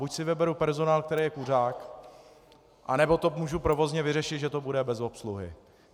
Buď si vyberu personál, který je kuřák, nebo to můžu provozně vyřešit, že to bude bez obsluhy.